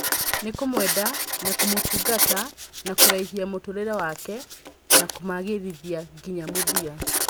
Na kũmwenda, na kũmũtungata, na kũraihia mũtũrĩre wake, na kũmagĩrithia nginya mũthia. "